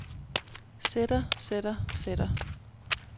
sætter sætter sætter